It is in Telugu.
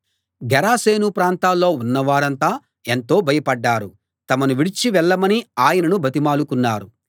గెరాసేను ప్రాంతాల్లో ఉన్నవారంతా ఎంతో భయపడ్డారు తమను విడిచి వెళ్ళమని ఆయనను బతిమాలుకున్నారు